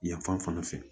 Yan fan fɛ